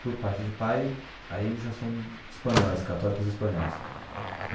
por parte de pai, aí já são espanhóis, católicos espanhóis.